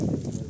Gəl.